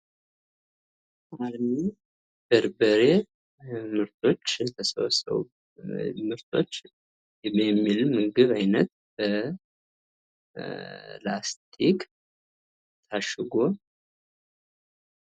አልሚ የበርበሬ ምርቶች የሚል የምግብ አይነት በላስቲክ ታሽጎ ።